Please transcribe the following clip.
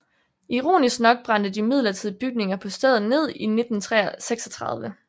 Ironisk nok brændte de midlertidige bygninger på stedet ned i 1936